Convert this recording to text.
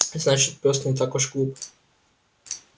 значит пёс не так уж глуп